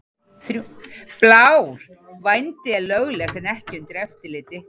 Blár: Vændi er löglegt en ekki undir eftirliti.